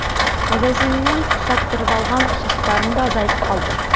магазиннен ұсаттырып алған ұсақтарым да азайып қалды